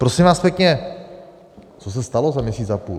Prosím vás pěkně, co se stalo za měsíc a půl?